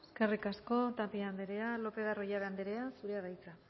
eskerrik asko tapia andrea lopez de arroyabe andrea zurea da hitza